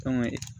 Kanga